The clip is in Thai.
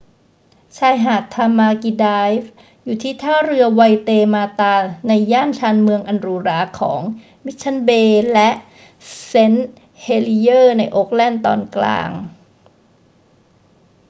ชายหาดทามากิไดรฟ์อยู่ที่ท่าเรือไวเตมาตาในย่านชานเมืองอันหรูหราของ มิชชั่นเบย์และเซนต์เฮลิเยอร์ในโอ๊คแลนด์ตอนกลาง